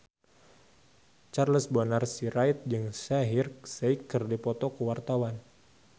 Charles Bonar Sirait jeung Shaheer Sheikh keur dipoto ku wartawan